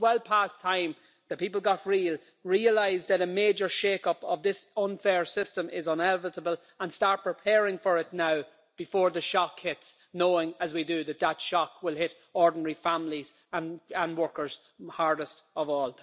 So it's well past time for people to get real, realise that a major shake up of this unfair system is inevitable and start preparing for it now before the shock hits, knowing, as we do, that that shock will hit ordinary families and workers hardest of all.